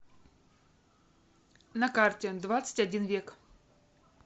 на карте двадцать один век